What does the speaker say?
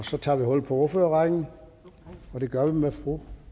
så tager vi hul på ordførerrækken og det gør vi med fru